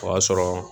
O y'a sɔrɔ